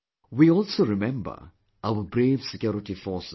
We also remember our brave security forces